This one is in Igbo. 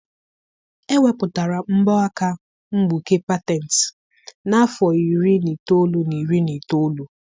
Ewepụtara mbọ aka mgbuke patent n'afọ iri na itoolu na iri na itoolu.